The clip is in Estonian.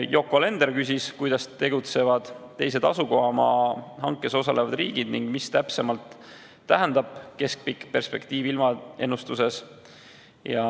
Yoko Alender küsis, kuidas tegutsevad teised asukohamaa hankes osalevad riigid ning mida täpsemalt tähendab keskpikk perspektiiv ilmaennustuses.